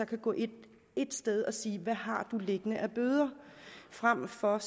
kan gå ind ét sted og se hvad vedkommende har liggende af bøder frem for at